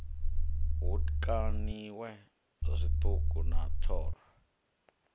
hu kaniwe zwiṱuku na thoro